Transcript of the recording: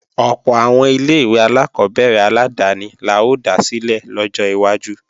Ọ̀pọ̀ àwọn ilé-ìwé alákọ́bẹ̀rẹ̀ aládáni la ó dá sílẹ̀ lọ́jọ́ iwájú